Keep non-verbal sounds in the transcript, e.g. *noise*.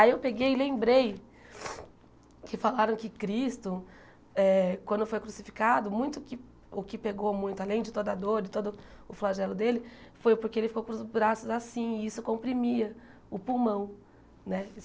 Aí eu peguei e lembrei *sniffs* que falaram que Cristo eh, quando foi crucificado, muito o que o que pegou muito, além de toda a dor e todo o flagelo dele, foi porque ele ficou com os braços assim e isso comprimia o pulmão né.